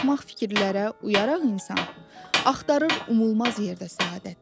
Axmaq fikirlərə uyaraq insan, axtarır umulmaz yerdə səadət.